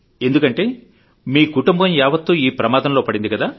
ఎందుకంటే మీ కుటుంబం యావత్తు ఈ ప్రమాదంలో పడింది కదా